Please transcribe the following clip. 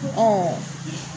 Ɔn